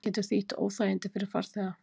Getur þýtt óþægindi fyrir farþega